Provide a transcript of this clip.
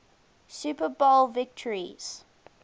super bowl victories